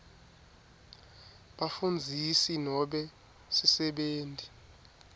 bafundzisi nobe sisebenti